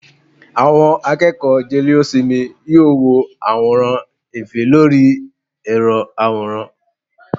àwọn akeeko jelésímí, yóò wọ aworan efe Lori ẹrọ aworán